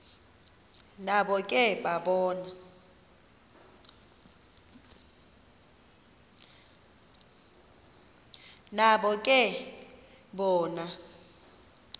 nabo ke bona